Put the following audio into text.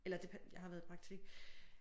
Eller det jeg har været i praktik